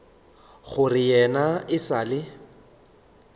gore yena e sa le